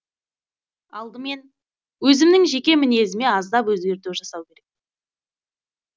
алдымен өзімнің жеке мінезіме аздап өзгерту жасау керек